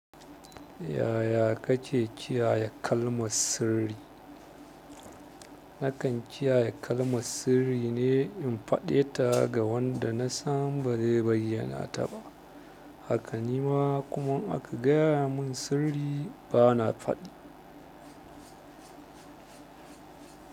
Yaya kake kiyaya kalmar sirri? Nakan kiyaya kalmar sirri ne in faɗe ta ga wanda na san ba zai bayyana ta ba. Haka ni ma kuma in aka gaya mun sirri bana faɗi.